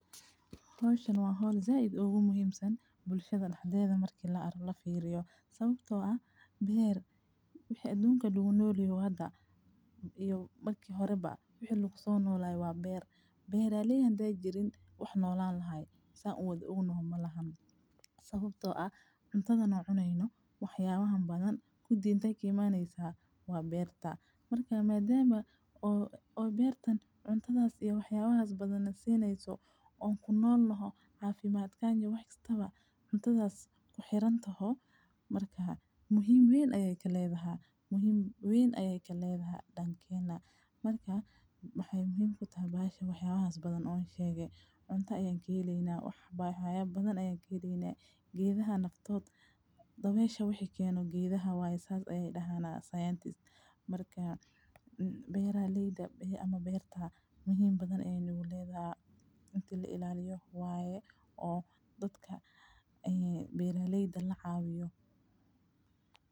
Hawshan waa hool zaideed ugu muhiimsan bulshada dhexdeeda markii la fiiriyo. Sababtoo ah beer wixii adduunka dhul unoliyo hadda iyo bakki horayba wixii lug soo noolayaa waa beer. Beeraleeyaan dejirin wax noolaan lahaay, isaga u day ugu nooma lahab. Sababtoo ah cuntadan oo cuneyno, waxyaabahan badan ku diintay kimaaneysaa waa beerta. Markaa maydheeba oo-oo beertan cuntadaas iyo waxyaabahaas badana seeneyso oo kunool laho caafimaad kaanyah wax istaba cuntadaas ku xiran tahod. Markaa muhiim weyn ayay kelleed ahaa? Muhiim weyn ayay kelleed ahaa dhankayna? Markaa maxay muhiim ku tahay baasha waxyaabahaas badan oon sheegae. Cunto ayey kiileyna, waxba xayaya badan ayey kiileynaa. Giidahana naftood daweesha wixii keenu giidahawaasaas ayay dhahaa Scientist Markaa beeraleeda ama beerta muhiim badan ee nuuleedaa inta la ilaaliyo waaye oo dadka ee beeraleyda la caawiyo.